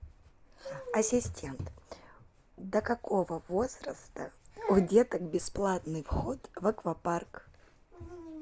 ассистент до какого возраста у деток бесплатный вход в аквапарк